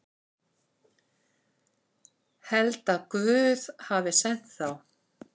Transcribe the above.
Held að Guð hafi sent þá.